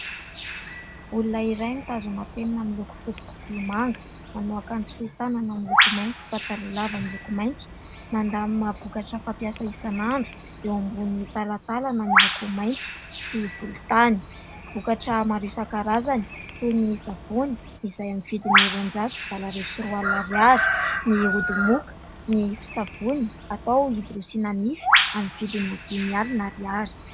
Olona iray mitazona penina miloko fotsy sy manga. Manao akanjo fohy tanana miloko mainty sy pataloha lava miloko mainty. Mandamina vokatra fampiasa isan'andro eo ambony talantalana miloko mainty sy volontany. Vokatra maro isan-karazany toy ny savony izay amin'ny vidiny roanjato sy valo arivo sy roa alina ariary, ny ody moka, ny savony atao hiborosiana nify amin'ny vidiny dimy alina ariary.